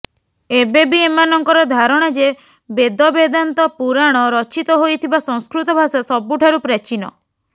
ଏବେ ବି ଏମାନଙ୍କର ଧାରଣା ଯେ ବେଦ ବେଦାନ୍ତ ପୁରାଣ ରଚିତ ହୋଇଥିବା ସଂସ୍କୃତଭାଷା ସବୁଠାରୁ ପ୍ରାଚୀନ